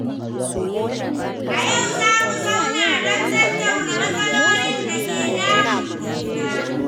A yau, za mu zauna don tattauna matsalolin da ke damun juna.